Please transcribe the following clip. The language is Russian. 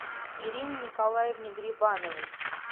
ирине николаевне грибановой